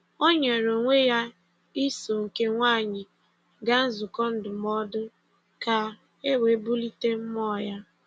O nyere onwe ya iso nke nwaanyị gaa nzukọ ndụmọdụ ka e wee bulite mmụọ ya.